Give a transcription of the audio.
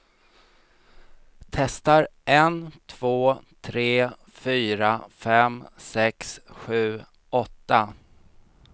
Testar en två tre fyra fem sex sju åtta.